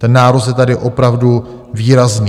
Ten nárůst je tady opravdu výrazný.